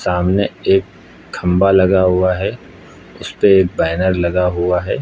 सामने एक खंभा लगा हुआ है। उसपे बैनर लगा हुआ है।